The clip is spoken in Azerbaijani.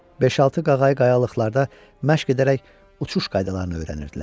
Beş-altı qağayı qayalıqlarda məşq edərək uçuş qaydalarını öyrənirdilər.